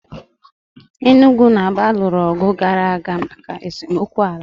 Enugwu na Aba lụrụ ọgụ oge gara aga maka esemokwu ala.